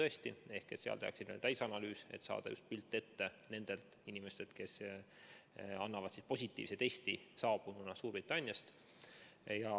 Siis tehakse täisanalüüs, et saada pilt nendest inimestest, kes annavad positiivse testi saabununa Suurbritanniast.